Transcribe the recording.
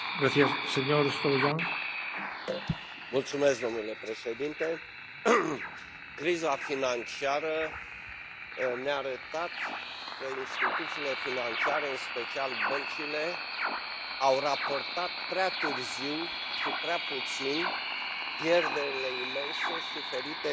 Domnule președinte, criza financiară ne a arătat că instituțiile financiare, în special băncile, au raportat prea târziu și prea puțin pierderile imense suferite din fel de fel de produse financiare.